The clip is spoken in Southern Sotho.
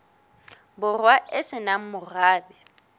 borwa e se nang morabe